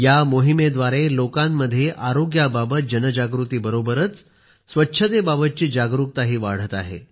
या मोहिमेद्वारे लोकांमध्ये आरोग्याबाबत जनजागृतीबरोबरच स्वच्छतेबाबतची जागरूकताही वाढत आहे